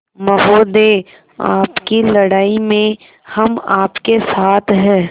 महोदय आपकी लड़ाई में हम आपके साथ हैं